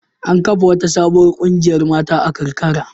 An kafa wata sabuwar ƙungiyar mata a karkara.